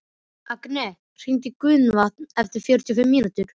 Agnea, hringdu í Gunnvant eftir fjörutíu og fimm mínútur.